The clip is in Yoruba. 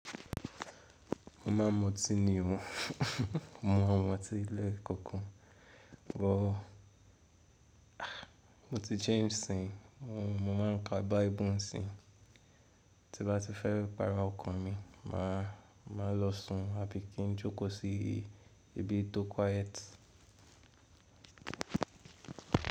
Mo ma m’oti ni o, mo m’omoti lẹ́ẹ̀kọ̀ọ̀kan, bọ́ mo ti jẹ́un nísìyín mo má ń kà bible nísìyin ti n bá ti fẹ́ pa ọkàn mi má má lọ sùn àbí kí n jókò sí ibi tó quiet.